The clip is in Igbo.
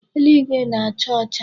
Eluigwe na-acha ọcha.